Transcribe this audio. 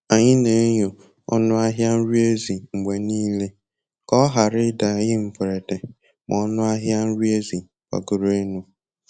Anyị na-enyo ọnụ ahịa nri ezi mgbe nile ka ọ ghara ịda anyi mberede ma ọnụ ahịa nri ezi gbagoro elu